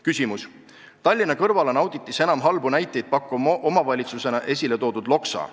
Küsimus: "Tallinna kõrval on auditis enim halbu näiteid pakkuva omavalitsusena esile toodud Loksa.